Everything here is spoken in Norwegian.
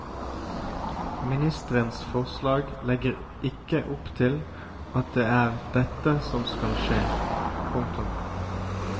Ministerens forslag legger ikke opp til at det er dette som skal skje. punktum